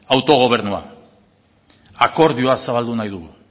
autogobernua akordioa zabaldu nahi dugu